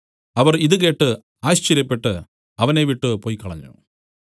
അവർ ഇത് കേട്ട് ആശ്ചര്യപ്പെട്ടു അവനെ വിട്ടുപൊയ്ക്കളഞ്ഞു